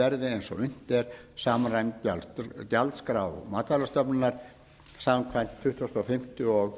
verði eins og unnt er samræmd gjaldskrá matvælastofnunar samkvæmt tuttugustu og fimmta og